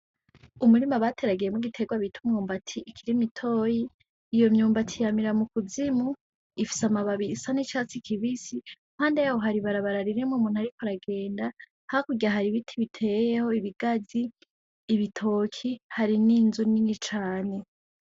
Umurima bateragiyemwo igitirwa bita umwumbati, ikiri mitoyi, iyo myumbati yamira mu kuzimu, ifise amababi isa n'icatsi kibisi. Impande yaho hari ibarabara ririmwo umuntu ariko aragenda, hakurya hari ibiti biteyeho ibigazi, ibitoke, hari n'inzu nini cane.